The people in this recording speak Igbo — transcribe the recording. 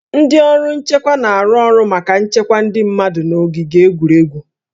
Ndị ọrụ nchekwa na-arụ ọrụ maka nchekwa ndị mmadụ n'ogige egwuregwu